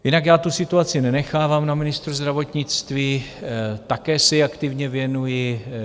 Jinak já tu situaci nenechávám na ministru zdravotnictví, také se jí aktivně věnuji.